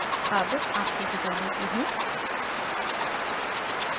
I I T Bombay से मैं श्रुति आर्य अब आपसे विदा लेती हूँ